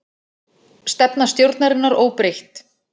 Stefna stjórnarinnar óbreytt